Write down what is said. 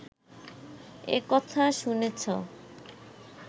এ কথা শুনেছ